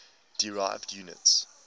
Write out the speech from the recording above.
derived units